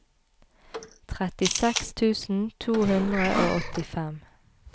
trettiseks tusen to hundre og åttifem